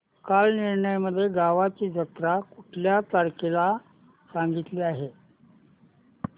कालनिर्णय मध्ये गावाची जत्रा कुठल्या तारखेला सांगितली आहे